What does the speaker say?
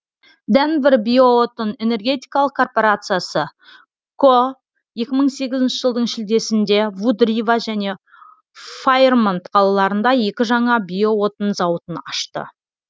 денвер биоотын энергетикалық корпорациясы ко екі мың сегізінші жылдың шілдесінде вуд рива және файрмонт қалаларында екі жаңа биоотын зауытын ашты